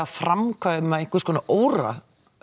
framkvæma einhverja svona óra